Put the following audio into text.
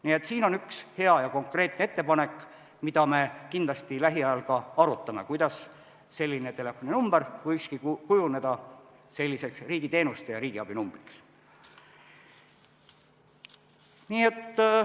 Nii et siin on üks hea ja konkreetne ettepanek, mida me kindlasti lähiajal arutame, kuidas selline telefoninumber võikski kujuneda riigiteenuste ja riigiabi numbriks.